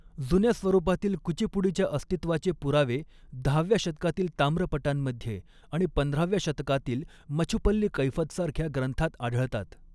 जुन्या स्वरुपातील कुचीपुडीच्या अस्तित्वाचे पुरावे दहाव्या शतकातील ताम्रपटांमध्ये, आणि पंधराव्या शतकातील मछुपल्ली कैफतसारख्या ग्रंथांत आढळतात.